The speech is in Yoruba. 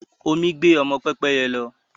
Omi gbẹ ọmọ Pẹ́pẹ́yẹ lọ